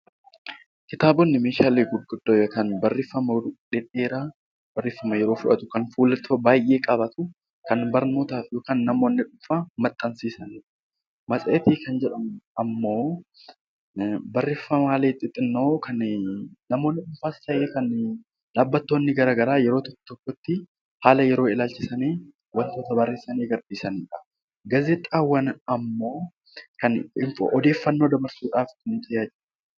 Kitaabotni barreeffama dheeraa kan yeroo fudhatu kan fuulota baay'ee qabaatu kan barnootaaf yookiin namoonni dhuunfaa maxxansiisan , matseetii kan jedhamu immoo barreeffama xixiqqoo kan namoonni dhuunfaas ta'ee dhaabbileen garaagaraa haala yeroo ilaalchisuun wantoota barreessanii gadhiisanidha. Gaazexaawwan immoo kan odeeffannoo dabarsuudhaaf nu tajaajilanidha